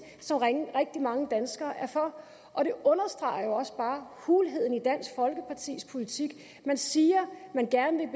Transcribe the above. som rigtig mange danskere er for og det understreger også bare hulheden i dansk folkepartis politik man siger man gerne